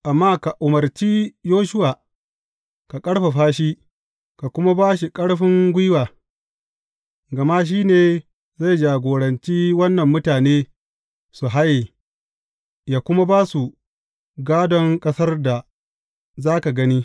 Amma ka umarci Yoshuwa, ka ƙarfafa shi, ka kuma ba shi ƙarfin gwiwa, gama shi ne zai jagoranci wannan mutane su haye, yă kuma ba su gādon ƙasar da za ka gani.